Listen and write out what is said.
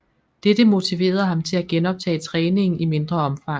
Dette motiverede ham til at genoptage træningen i mindre omfang